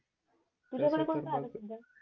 तुझ्याकड कोणता आहे सध्या